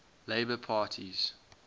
labour parties